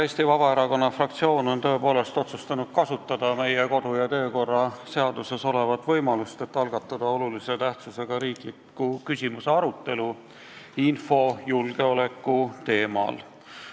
Eesti Vabaerakonna fraktsioon on tõepoolest otsustanud kasutada meie kodu- ja töökorra seaduses olevat võimalust, et algatada olulise tähtsusega riikliku küsimusena arutelu, käsitledes infojulgeoleku teemat.